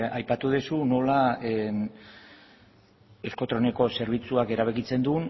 bai aipatu duzu nola euskotreneko zerbitzuak erabakitzen du